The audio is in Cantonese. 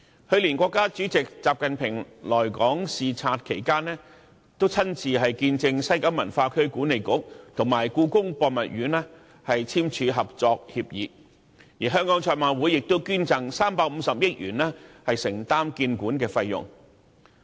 去年，國家主席習近平來港視察期間，親自見證西九文化區管理局及故宮博物院簽署合作協議，而香港賽馬會亦捐贈350億元以承擔建館費用。